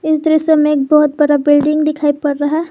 इस दृश्य में एक बहुत बड़ा बिल्डिंग दिखाई पड़ रहा।